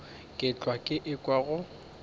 ke hlwa ke ekwa go